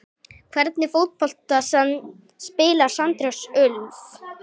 Hvernig fótbolta spilar Sandnes Ulf?